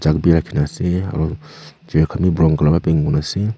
bi rakhina ase aro chair khan bi brown colour wa paint kurina ase.